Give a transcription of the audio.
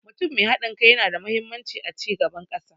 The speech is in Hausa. Mutum mai haɗin kai yana da mahimmanci a cigaban ƙasa.